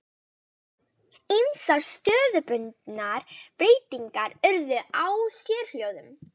Ýmsar stöðubundnar breytingar urðu á sérhljóðum.